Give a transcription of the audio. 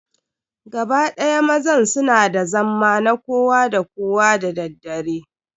Gaba ɗaya mazan su na da zamma na kowa da kowa da daddare.